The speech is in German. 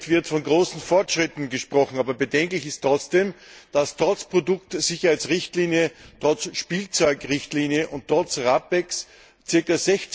Im Bericht wird von großen Fortschritten gesprochen, aber bedenklich ist, dass trotz Produktsicherheitsrichtlinie, trotz Spielzeugrichtlinie und trotz RAPEX ca.